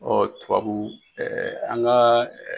tubabu an ka .